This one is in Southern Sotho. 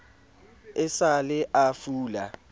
e sa le a fula